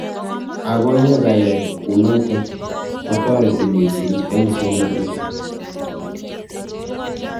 Ako ye ka yai kunotok kotareti mising eng somanet.